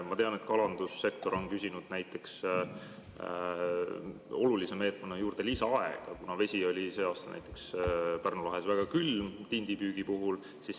Ma tean, et näiteks kalandussektor on küsinud olulise meetmena juurde lisaaega, kuna vesi oli see aasta tindipüügi ajal Pärnu lahes väga külm.